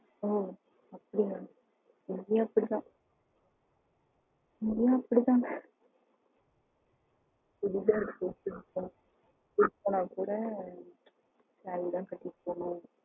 ஓ அப்டியா சரி இங்கயும் அப்டித்தான் அங்க எல்லாம் அப்டி எல்லாம் இல்லையா? இங்கயும் அப்டிதான் okay okay சாரிதான் கட்டிட்டு போகணும்.